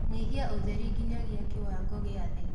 nyĩhĩa ũtherĩ ginyagia kĩwango gia thii